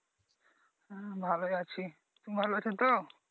হুম ভালোই আছি তুমি ভালো আছো তো?